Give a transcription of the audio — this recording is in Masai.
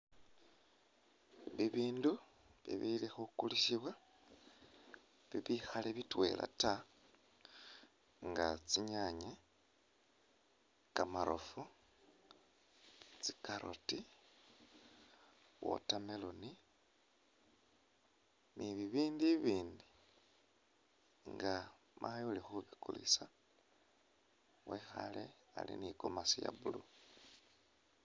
Bibindu ibili khukulisibwa bikhaali bitwela taa nga tsinyaanye, kamarofu, tsi'carrot, watermelon ni'bibindu bibindi nga mayi ulikhubukulisa wekhaale ali ni'gomasi iya' blue